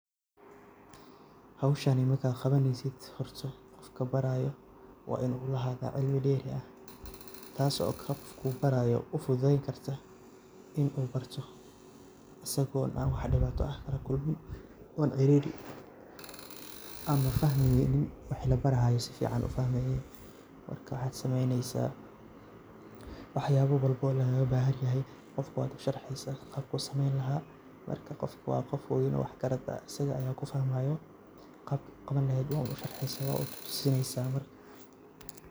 Howshani marka qabaneysid horta qofka barayo waa inu ulahaado cilmi dheeri ah taaso qofka uu barayo uu fududeyn karta in uu barto asago wax an dhibaata ah lakulmin oo ciriri gelin ama fahmin wixi labarayo an si fican ufahmeynin marka waxad sameeyneysa wax yabo walbo oo laga bahan yahay qofka wad usharxeysa qabku sameeyn laha marka qofka waa qof weyn oo wax garad ah asaga kufahmaayo qabka uqaban leheyd wad un usharxeysa wad un tusineysa marka hore